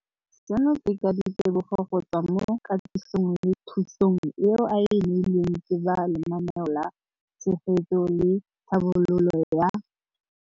Seno ke ka ditebogo go tswa mo katisong le thu song eo a e neilweng ke ba Lenaane la Tshegetso le Tlhabololo ya.